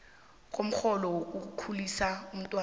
komrholo wokukhulisa umntwana